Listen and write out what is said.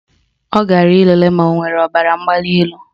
Ọ gara ịlele ma o nwere ọbaramgbalịelu